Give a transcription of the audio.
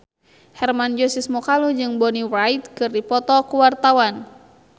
Hermann Josis Mokalu jeung Bonnie Wright keur dipoto ku wartawan